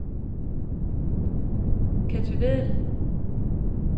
Ketty Vedel